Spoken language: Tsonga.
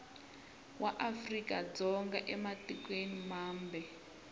va afrika dzonga ematikweni mambe